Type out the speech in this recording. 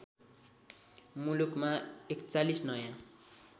मुलुकमा ४१ नयाँ